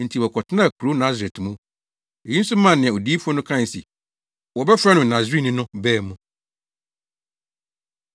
Enti wɔkɔtenaa kurow Nasaret mu. Eyi nso maa nea adiyifo no kae se, “Wɔbɛfrɛ no Nasareni” no baa mu.